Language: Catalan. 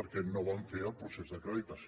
perquè no van fer el procés d’acreditació